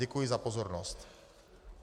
Děkuji za pozornost.